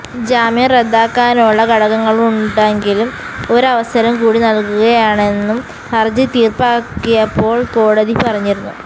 ജാമ്യം റദ്ദാക്കാനുള്ള ഘടകങ്ങളുണ്ടെങ്കിലും ഒരവസരം കൂടി നല്കുകയാണെന്നും ഹര്ജി തീര്പ്പാക്കിയപ്പോള് കോടതി പറഞ്ഞിരുന്നു